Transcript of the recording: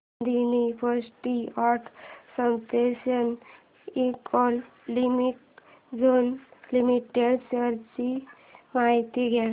Adani ports and special economic zone limited shares ची माहिती द्या